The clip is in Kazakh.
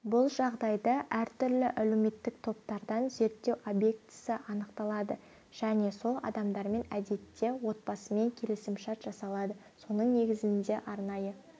бұл жағдайда әртүрлі әлеуметтік топтардан зерттеу объектісі анықталады және сол адамдармен әдетте отбасымен келісімшарт жасалады соның негізінде арнайы